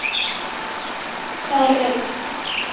Sá rautt.